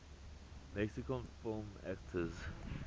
mexican film actors